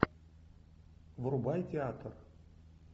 врубай театр